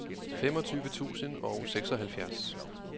femogtyve tusind og seksoghalvfjerds